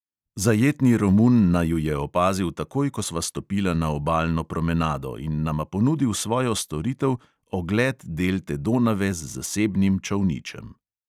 Zajetni romun naju je opazil takoj, ko sva stopila na obalno promenado, in nama ponudil svojo storitev, ogled delte donave z zasebnim čolničem.